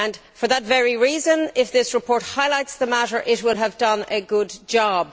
For that very reason, if this report highlights the matter it will have done a good job.